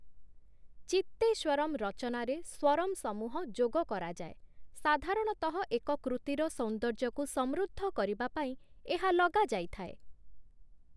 ଚିତ୍ତେଶ୍ୱରମ୍ ରଚନାରେ 'ସ୍ୱରମ୍' ସମୂହ ଯୋଗ କରାଯାଏ । ସାଧାରଣତଃ ଏକ କୃତିର ସୌନ୍ଦର୍ଯ୍ୟକୁ ସମୃଦ୍ଧ କରିବା ପାଇଁ ଏହା ଲଗାଯାଇଥାଏ ।